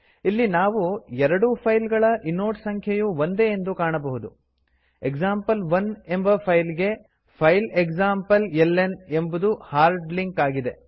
ಇಲ್ಲಿ ನಾವು ಎರಡೂ ಫೈಲ್ ಗಳ ಇನೋಡ್ ಸಂಖ್ಯೆಯು ಒಂದೇ ಎಂದು ಕಾಣಬಹುದು ಎಕ್ಸಾಂಪಲ್1 ಎಂಬ ಫೈಲ್ ಗೆ ಫೈಲ್ ಎಕ್ಸಾಂಪ್ಲೆಲ್ನ ಎಂಬುದು ಹಾರ್ಡ್ ಲಿಂಕ್ ಆಗಿದೆ